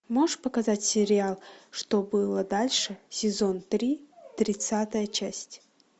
можешь показать сериал что было дальше сезон три тридцатая часть